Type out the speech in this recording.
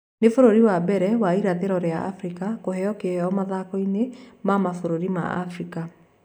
Nĩ bũrũri wa mbere wa irathĩro rĩa Afrika kũheo kĩheo mathakoĩni ma mabũrũri ma Afrika